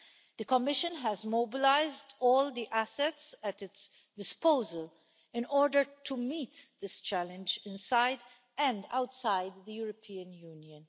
The Commission has mobilised all the assets at its disposal in order to meet this challenge inside and outside the European Union.